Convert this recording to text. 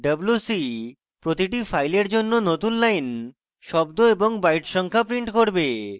wc প্রতিটি file জন্য নতুন লাইন শব্দ এবং byte সংখ্যা print করবে